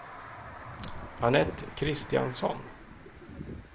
Annette Kristiansson